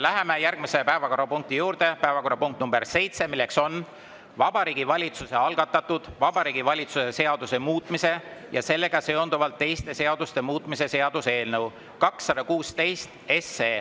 Läheme järgmise päevakorrapunkti juurde: päevakorrapunkt nr 7, milleks on Vabariigi Valitsuse algatatud Vabariigi Valitsuse seaduse muutmise ja sellega seonduvalt teiste seaduste muutmise seaduse eelnõu 216.